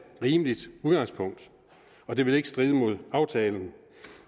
rimeligt udgangspunkt og det vil ikke stride mod aftalen